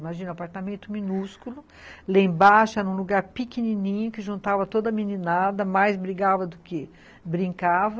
Imagina, apartamento minúsculo, lá embaixo era um lugar pequenininho, que juntava toda a meninada, mais brigava do que brincava,